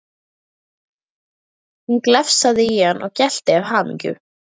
Hún glefsaði í hann og gelti af hamingju.